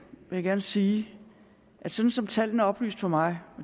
jeg gerne sige at sådan som tallene er oplyst for mig